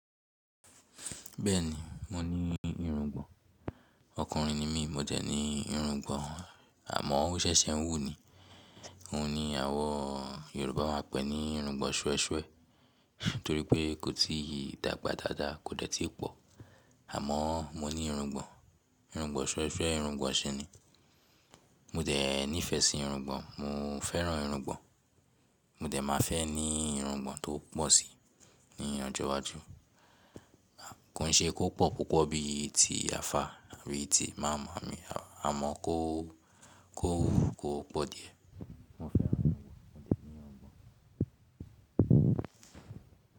Bẹ́ẹ̀ni, mo ní irungbọ̀n. Ọkùnrin ni mí, mo jẹ ní irungbọ̀n, àmọ́ ó ṣẹ̀ṣẹ̀ n wú ni. Òun ni àwọn Yorùbá máa ń pè ní irungbọ̀n ṣwẹ́ṣwẹ́, nítorí pé kò tíì dàgbà dáadáa, kò dẹ́ tíì pọ̀. Àmọ́ mo ní irungbọ̀n, irungbọ̀n ṣwẹ́ṣwẹ́, irungbọ̀n ṣi ni. Mo dẹ̀ nífẹ̀ẹ́ sí irungbọ̀n, mo fẹ́ràn irungbọ̀n. Mo dẹ̀ máa fẹ́ ní irungbọ̀n tó pọ̀ síi, ní ọjọ́ iwájú. Kò ṣe kó pọ̀ púpọ̀ bíi ti àfá àbí ti imaamu, àmọ́ kó, kó wú, kó pọ̀ díẹ̀. Mo fẹ́ràn irungbọ̀n, mo dẹ̀ ní irungbọ̀n.